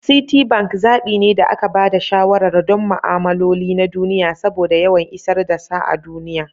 Citibank zaɓi ne da aka ba da shawarar don ma'amaloli na duniya saboda yawan isar da sa a duniya.